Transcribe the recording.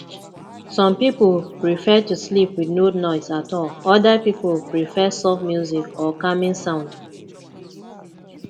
some pipo prefer to sleep with no noise at all oda pipo prefer soft music or calming sound